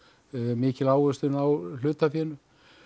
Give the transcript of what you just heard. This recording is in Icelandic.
mikil ávöxtun á hlutafénu